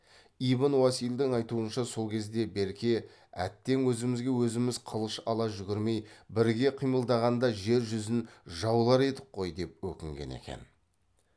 ибн уасилдың айтуынша сол кезде берке әттең өзімізге өзіміз қылыш ала жүгірмей біріге қимылдағанда жер жүзін жаулар едік қой деп өкінген екен